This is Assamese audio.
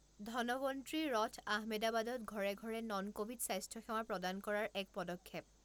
ধনৱন্ত্ৰী ৰথ আহমেদাবাদত ঘৰে ঘৰে নন কভিড স্বাস্থ্য সেৱা প্ৰদান কৰাৰ এক পদক্ষেপ